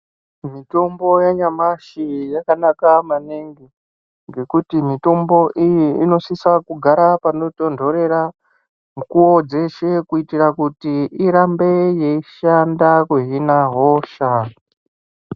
Mitombo yanyamashi yakanaka maningi ngekuti mitombo iyi inosisa kugara pano tindorera mukuwo dzeshe kyitira kuti irambe yeishanda kuzohina hosha.